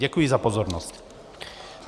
Děkuji za pozornost.